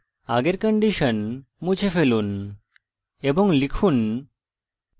আগের condition মুছে ফেলুন এবং লিখুন